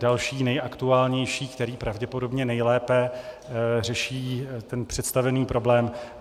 Další, nejaktuálnější, který pravděpodobně nejlépe řeší ten představený problém.